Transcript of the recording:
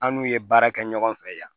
An n'u ye baara kɛ ɲɔgɔn fɛ yan